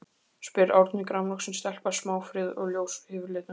spyr Árný, grannvaxin stelpa, smáfríð og ljós yfirlitum.